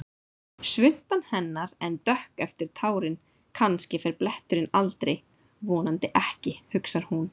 Svuntan hennar enn dökk eftir tárin, kannski fer bletturinn aldrei, vonandi ekki, hugsar hún.